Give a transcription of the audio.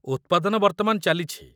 ଉତ୍ପାଦନ ବର୍ତ୍ତମାନ ଚାଲିଛି।